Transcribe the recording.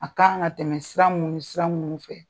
A k'an ka tɛmɛ sira mun nisira munnu fɛ.